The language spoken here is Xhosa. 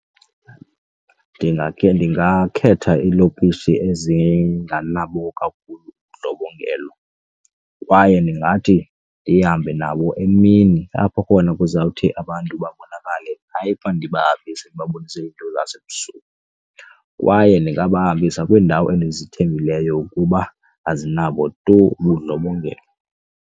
Ndingakhe ndingakhetha iilokishi ezinganabo kakhulu ubundlobongela kwaye ndingathi ndihambe nabo emini apho khona ukuze kuzawuthi abantu babonakale, hayi uba ndibahambise ndibabonise lasebusuku. Kwaye ndingabahambisa kwiindawo endizithembileyo ukuba azinabo tu ubundlobongela.